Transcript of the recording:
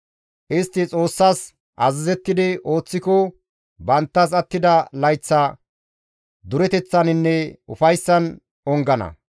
Istti Xoossas azazettidi ooththiko, banttas attida layththa dureteththaninne ufayssan ongana.